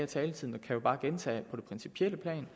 taletid og kan jo bare gentage at på det principielle plan